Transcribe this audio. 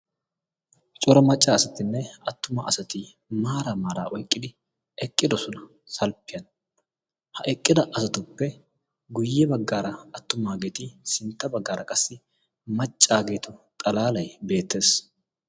coura macca asatinne attuma asati maara maaraa oiqqidi eqqidosona salppiyan ha eqqida asatuppe guyye baggaara attumaageeti sintta baggaara qassi maccaageeto xalaalai beettees